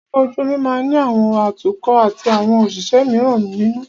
Ọkọ̀ ojú omi máà ní àwọn atukọ̀ atí àwọn òṣìṣẹ́ míràn nínú.